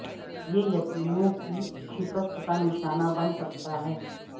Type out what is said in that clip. یہ یتیموں کی شکست کا نشانہ بن سکتا ہے